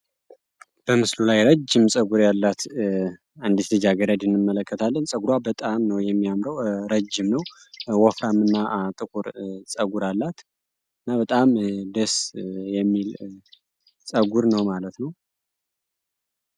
በምስሉ ላይ ረጅም ፀጉር ያላት አንዲት ልጃገረድ እንመለከታለን። ፀጉሯ በጣም ነው የሚያምረው ረጅም ነው ወፍራም እና ጥቁር ፀጉር አላት እና በጣም ደስ የሚል ፀጉር ነው ማለት ነው።